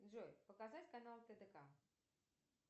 джой показать канал тдк